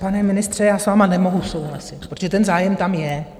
Pane ministře, já s vámi nemohu souhlasit, protože ten zájem tam je.